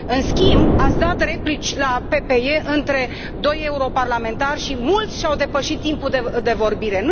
În schimb, ați dat replici la PPE între doi europarlamentari și mulți și au depășit timpul de vorbire.